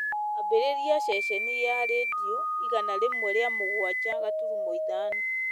ambĩrĩria ceceni ya rĩndiũ igana rĩmwe rĩa mũgwanja gaturumo ithano